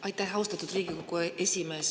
Aitäh, austatud Riigikogu esimees!